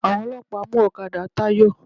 Àwọn ọlọ́pàá mú ọ̀kadà Táyọ̀.